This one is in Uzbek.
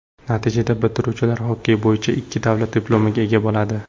Natijada, bitiruvchilar xokkey bo‘yicha ikki davlat diplomiga ega bo‘ladi.